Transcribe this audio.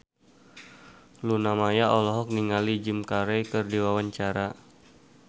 Luna Maya olohok ningali Jim Carey keur diwawancara